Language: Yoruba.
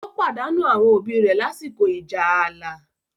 ó pàdánù àwọn òbí rẹ̀ lásìkò ìjà ààlà.